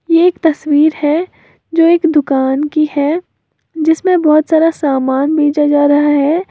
ये एक तस्वीर है जो एक दुकान की है जिसमें बहोत सारा सामान बेचा जा रहा है।